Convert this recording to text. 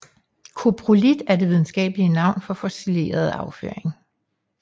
Koprolit er det videnskabelige navn for fossileret afføring